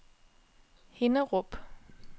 Hinnerup